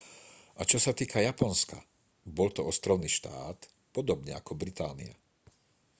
a čo sa týka japonska bol to ostrovný štát podobne ako británia